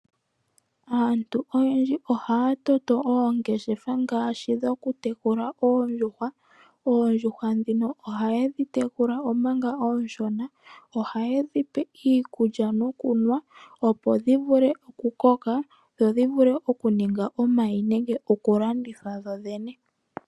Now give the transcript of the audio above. Aantu oyendji ohaya toto oongeshefa ngaashi dhoku tekula oondjuhwa. Oondjuhwa dhino ohaye dhi tekula omanga oonshona, ohaye dhi pe iikulya nokunwa opo dhi vule oku koka, dho dhi vule okuninga omayi nenge oku landithwa dhodhene.